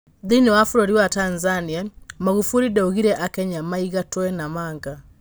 Thĩiniĩ wa bũrũri wa Tanzania Maguburi ndaugire aKenya maigatwe Namanga.